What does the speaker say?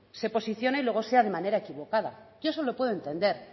se posicione y luego sea de manera equivocada yo eso lo puedo entender